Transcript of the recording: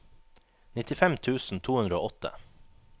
nittifem tusen to hundre og åtte